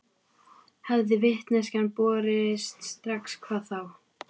Hefði vitneskjan borist strax hvað þá?